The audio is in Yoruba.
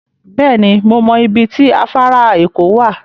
Beeni, mo mo ibi ti afara eko wa